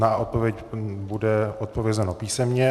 A odpověď, bude odpovězeno písemně.